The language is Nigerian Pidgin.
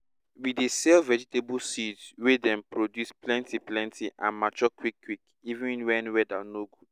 we dey sell vegetable seeds wey dey produce plenty plenty and mature quick quick even wen weather no good